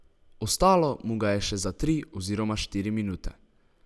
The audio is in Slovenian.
Ostalo mu ga je še za tri oziroma štiri minute.